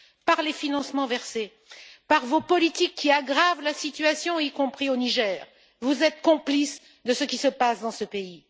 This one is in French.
Par les financements versés, par vos politiques qui aggravent la situation, y compris au Niger, vous êtes complices de ce qui se passe dans ce pays.